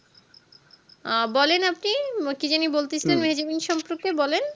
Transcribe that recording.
আহ বলেন আপনি কি যানি বলতে সিলেন মিহিজাবীন সম্পর্কে বলেন